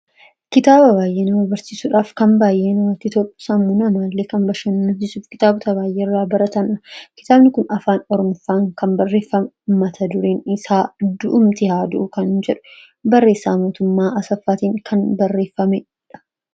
Suuraa kanaa gadii irraa kan mul'atu kitaaba baayyee nama hawwatuu fi namatti kan tolu yammuu ta'u; innis afaan Oromoon kan barreeffamee fi mata dureen isaa 'du'umtu haa du'u' kan jedhuu fi barreessaan isaa mootummaa Asaffaatiin kan barreeffamee dha.